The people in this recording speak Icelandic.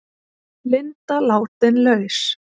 Linda látin laus